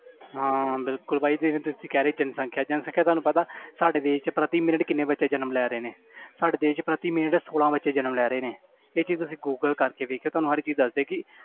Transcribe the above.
ਹਾਂ ਹਾਂ ਬਿਲਕੁਲ ਭਾਜੀ ਜਿਵੇਂ ਤੁਸੀਂ ਕਹਿ ਰਹੇ ਜਨਸੰਖਿਆ ਜਨਸੰਖਿਆ ਤੁਹਾਨੂੰ ਪਤਾ ਸਾਡੇ ਦੇਸ 'ਚ ਪ੍ਰਤੀ ਮਿੰਟ ਕਿੰਨੇ ਬੱਚੇ ਜਨਮ ਲੈ ਰਹੇ ਨੇ ਸਾਡੇ ਦੇਸ 'ਚ ਪ੍ਰਤੀ ਮਿੰਟ ਛੋਲਾਂ ਬੱਚੇ ਜਨਮ ਲੈ ਰਹੇ ਨੇ ਇਹ ਚੀਜ਼ ਤੁਸੀਂ ਗੂਗਲ ਕਰਕੇ ਦੇਖਿਓ ਤੁਹਾਨੂੰ ਹਰ ਚੀਜ਼ ਦੱਸਦੇ ਕਿ